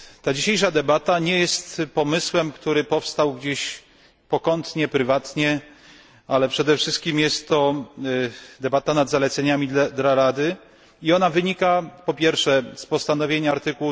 Dzisiejsza debata nie jest pomysłem, który powstał gdzieś pokątnie, prywatnie, ale przede wszystkim jest to debata nad zaleceniami dla Rady i wynika ona z postanowień art.